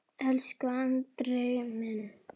Elsku Andri minn.